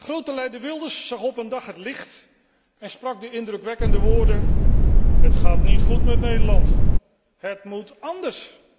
Grote leider Wilders zag op een dag het licht en sprak de indrukwekkende woorden het gaat niet goed met Nederland, het moet anders!